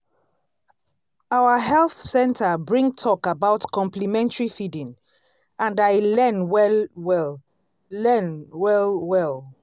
our health center bring talk about complementary feeding and i learn well well. learn well well.